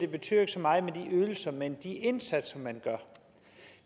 betyder så meget med ydelserne men med de indsatser man gør